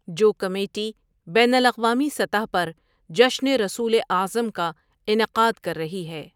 جو کمیٹی بین الاقوامی سطح پر جشن رسولؐ اعظم کا انعقاد کر رہی ہے ۔